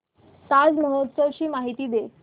ताज महोत्सव ची माहिती दे